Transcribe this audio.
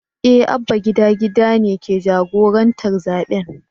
Eh Abba gida gida ne ke jagorantar zaɓen.